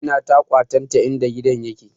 Amina ta kwatanta in da gidan yake